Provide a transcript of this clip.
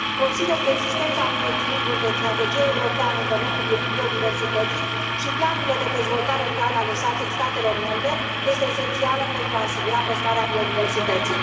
Consider că existența unui echilibru între strategia europeană în domeniul biodiversității și planurile de dezvoltare rurală ale statelor membre este esențială pentru a asigura păstrarea biodiversității.